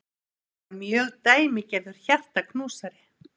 Þetta var mjög dæmigerður hjartaknúsari.